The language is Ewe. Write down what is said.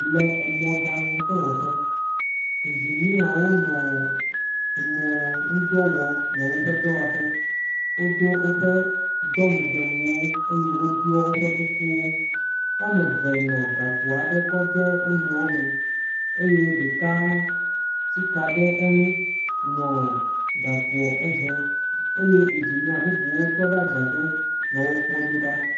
Le mɔɖaŋudɔwɔƒe, ŋginiewo nɔ mɔwo ŋdɔ wɔm le woƒe dɔwɔƒɔ. Wodo woƒe dɔmedewuwo eye woɖɔ woƒe kukuwo. Wo ame eve nɔ gakpo aɖe kɔ de wonuiwo me eye ɖeka tsi ka ɖe eŋu nɔ gakpo hem eye ŋginie bubuwo tɔ ɖe adzɔge nɔ wo kpɔm do ɖa.